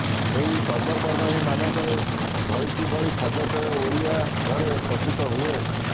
ଏହି ପର୍ବପର୍ବାଣୀ ମାନଙ୍କରେ ଭଳିକି ଭଳି ଖାଦ୍ୟପେୟ ଓଡ଼ିଆ ଘରେ ପ୍ରସ୍ତୁତ ହୁଏ